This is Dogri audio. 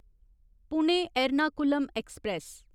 पुणे एर्नाकुलम ऐक्सप्रैस